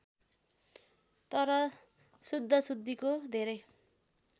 तर शुद्धाशुद्धिको धेरै